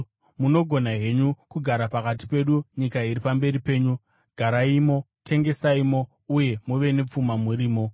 Munogona henyu kugara pakati pedu; nyika iri pamberi penyu. Garaimo, tengesaimo, uye muve nepfuma murimo.”